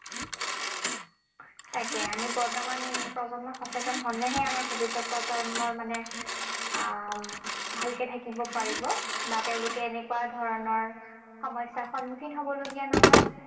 তাকে, আমি বৰ্তমান প্ৰজন্ম সচেতন হলেহে আমাৰ ভৱিষ্যত প্ৰজন্মৰ মানে আহ ভালকে থাকিব পাৰিব বা তেওঁলোক এনেকুৱা ধৰণৰ সমস্যাৰ সন্মুখীন হবলগীয়া নহয়।